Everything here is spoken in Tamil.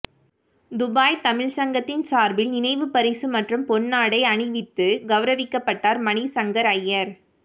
துபாய் தமிழ்ச் சங்கத்தின் சார்பில் நினைவுப் பரிசு மற்றும் பொன்னாடை அணிவித்து கௌரவிக்கப்பட்டார் மணிசங்கர் அய்யர்